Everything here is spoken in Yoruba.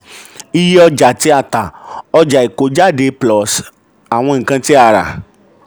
iye ọjà tí a tà: ọjà ìkójáde plus àwọn ǹkan tí a rà.